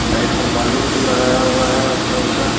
Side में balloon भी लगाया हुआ है अच्छा-अच्छा।